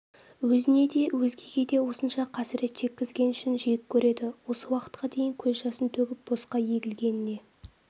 өзіне де өзгеге де осынша қасырет шеккізген үшін жек көреді осы уақытқа дейін көз жасын төгіп босқа егілгеніне